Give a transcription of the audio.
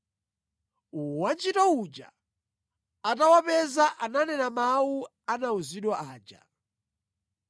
Wantchito uja atawapeza ananena mawu anawuzidwa aja.